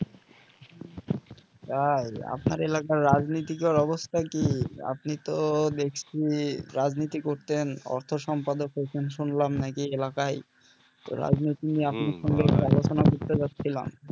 তাই, আপনার এলাকার রাজনীতিকর অবস্থা কি? আপনি তো দেখছি রাজনীতি করতেন অর্থ সম্পাদক প্রথম শুনলাম নাকি এলাকায় তো রাজনীতি নিয়ে আপনার সঙ্গে আলোচনা করতে চাচ্ছিলাম